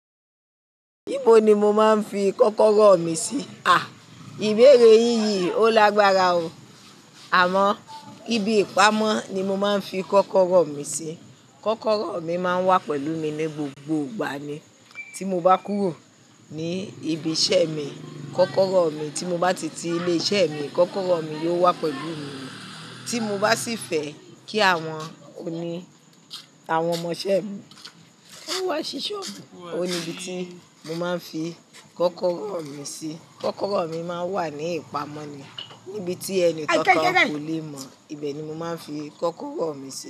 Níbo ni mo máa ń fi kọ́kọ́rọ́ mi sí? À, ìbéèrè yíń. Yí ò lágbára o. Àmọ́, ibi ìpamọ́ ni mo máa ń fi kọ́kọ́rọ́ mi sí. Kọ́kọ́rọ́ mi máa ń wà pẹ̀lú mi ní gbogbo ìgbà ni. Tí mo bá kúrò ní ibi iṣẹ́ mi, kọ́kọ́rọ́ mi tí mo bá ti tí ilé iṣẹ́ mi, kọ́kọ́rọ́ mi yóò wà pẹ̀lú mi. Tí mo bá sì fẹ́ kí àwọn ọ̀ni, àwọn ọmọ iṣẹ́ mi, ó wá ṣíṣe ọfẹ, ó ní ibi tí mo máa ń fi kọ́kọ́rọ́ mi sí. Kọ́kọ́rọ́ mi máa ń wà ní ìpamọ́ ni, níbi tí ẹni kánkan kò lè mọ̀, ibẹ̀ ni mo máa ń fi kọ́kọ́rọ́ mi sí.